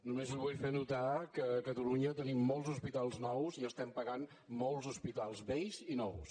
només li vull fer notar que a catalunya tenim molts hospitals nous i estem pagant molts hospitals vells i nous